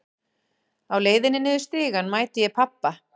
Á leiðinni niður stigann mæti ég pabba.